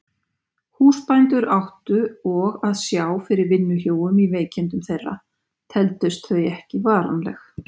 Húsbændur áttu og að sjá fyrir vinnuhjúum í veikindum þeirra, teldust þau ekki varanleg.